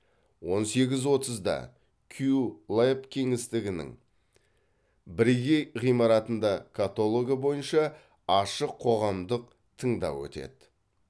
он сегіз отызда кю леб кеңістігінің бірегей ғимаратында каталогы бойынша ашық қоғамдық тыңдау өтеді